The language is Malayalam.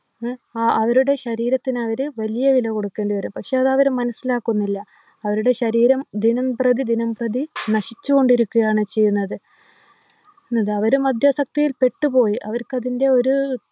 ആഹ് അവരുടെ ശരീരത്തിനവര് വലിയ വില കൊടുക്കേണ്ടി വരും പക്ഷെ അതവര് മനസിലാക്കുന്നില്ല അവരുടെ ശരീരം ദിനംപ്രതി ദിനംപ്രതി നശിച്ചുകൊണ്ടിരിക്കുകയാണ് ചെയ്യുന്നത് ന്നതവര് മദ്യാസക്തിയിൽ പെട്ട് പോയി അവർക്കത്തിന്റെ ഒരു